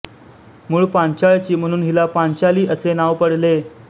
मूळ पांचाळची म्हणून हिला पांचाली हे नाव पडले